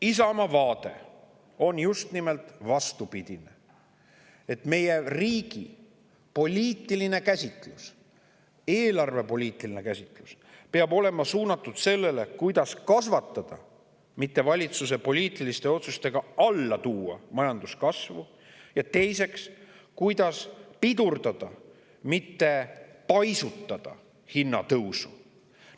Isamaa vaade on just nimelt vastupidine: meie riigi eelarvepoliitiline käsitlus peab olema suunatud sellele, kuidas majandust kasvatada, mitte seda valitsuse poliitiliste otsustega alla tuua, ja teiseks, kuidas pidurdada, mitte paisutada hinnatõusu.